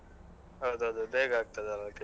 ಹೌದೌದು ಬೇಗ ಆಗತ್ತದಲ್ಲ ಅದಕ್ಕೆ.